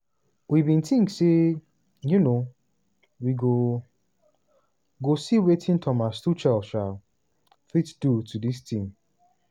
we bin tink say um we go go see wetin thomas tuchel um fit do to dis team.